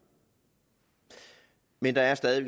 men der er stadig